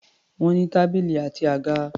Wọ́n ní tábìlì àti àga.